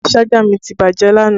Ṣájà mi ti bàjẹ́ lánàá